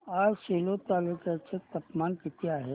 आज सेलू तालुक्या चे तापमान किती आहे